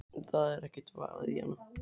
Það er ekkert varið í hana.